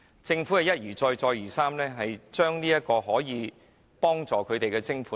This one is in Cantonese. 政府一而再、再而三減少用作協助病人的徵款。